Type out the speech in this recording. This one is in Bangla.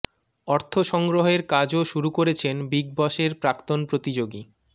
অর্থ সংগ্রহের কাজও শুরু করেছেন বিগ বসের প্রাক্তন প্রতিযোগী